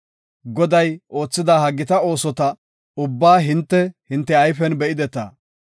Goday oothida ha gita oosota ubbaa hinte, hinte ayfen be7ideta.